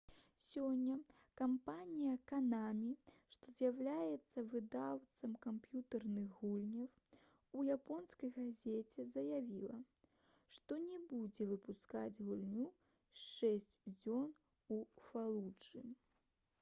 сёння кампанія «канамі» што з'яўляецца выдаўцом камп'ютэрных гульняў у японскай газеце заявіла што не будзе выпускаць гульню «шэсць дзён у фалуджы»